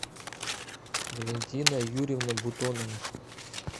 валентина юрьевна бутонова